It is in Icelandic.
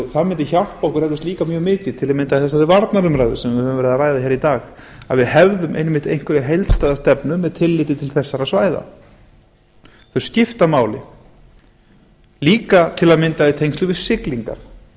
það mundi hjálpa okkur eflaust líka mjög mikið til að mynda þessari varnarumræðu sem við höfum verið að ræða hér í dag að við hefðum einmitt einhverja heildstæða stefnu með tilliti til þessara svæða þau skipta máli líka til að mynda í tengslum við siglingar